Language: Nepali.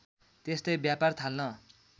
त्यस्तै व्यापार थाल्न